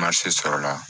sɔrɔla